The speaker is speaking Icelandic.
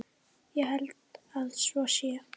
Ég held að svo sé.